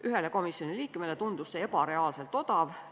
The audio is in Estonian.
Ühele komisjoni liikmele tundus see ebareaalselt odav.